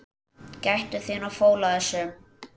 Gættu þín á fóla þessum.